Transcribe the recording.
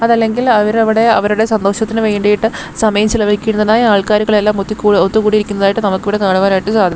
അതല്ലെങ്കിൽ അവരവിടെ അവരുടെ സന്തോഷത്തിന് വേണ്ടീട്ട് സമയം ചിലവഴിക്കുന്നതിനായി ആൾക്കാരുകളെയെല്ലാം ഒത്തുകൂ ഒത്തുകൂടിയിരിക്കുന്നതായിട്ട് നമുക്കിവിടെ കാണുവാനായിട്ട് സാധിക്കും.